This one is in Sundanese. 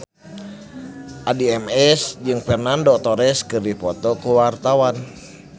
Addie MS jeung Fernando Torres keur dipoto ku wartawan